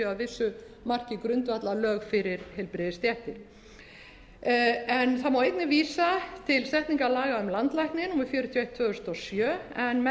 vissu marki grundvallarlög fyrir heilbrigðisstéttir það má einnig vísa til setningar laga um um landlækni númer fjörutíu og eitt tvö þúsund og sjö en með þeim